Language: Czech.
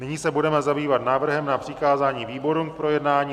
Nyní se budeme zabývat návrhem na přikázání výborům k projednání.